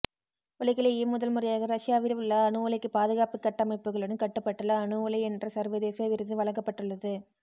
உலகிலேயே முதல் முறையாக ரஷ்யவில் உள்ள அணு உலைக்கு பாதுகாப்பு கட்டமைப்புகளுடன் கட்டப்பட்டுள்ள அணுஉலை என்ற சர்வதேச விருது வழங்கப்பட்டுள்ளது